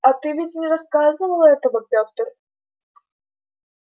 а ты ведь не рассказывал этого петр